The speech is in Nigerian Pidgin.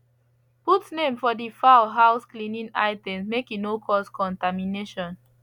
put name for de fowl house cleaning items make e no cause contamination